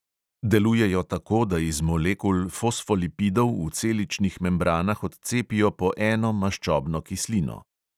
Delujejo tako, da iz molekul fosfolipidov v celičnih membranah odcepijo po eno maščobno kislino.